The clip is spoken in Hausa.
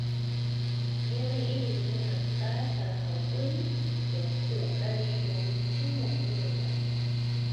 Neman ilimi yana buƙatar haƙuri da ƙoƙari domin cimma burin rayuwa.